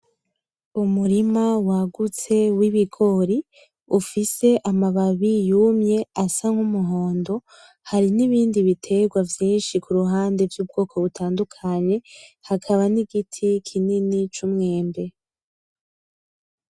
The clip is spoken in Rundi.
Umurima waguste w’ibigori ufise amababi yumye asa k’umuhondo ,hari n’ibindi biterwa vyinshi kuruhande vy’ubwoko butandukanye hakamba ,n’igiti kinini c’umwebwe.